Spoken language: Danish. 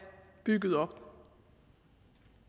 bygget op